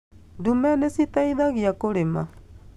Ndume nĩ citaithagia kũrĩma